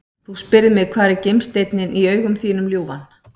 Þú spyrð mig hvar er gimsteinninn í augum þínum ljúfan?